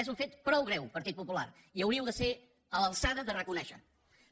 és un fet prou greu partit popular i hauríeu de ser a l’alçada de reconèixer ho